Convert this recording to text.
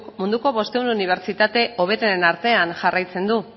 munduko bostehun unibertsitate hoberenen artean jarraitzen du